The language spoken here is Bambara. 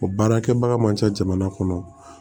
O baarakɛbaga man ca jamana kɔnɔ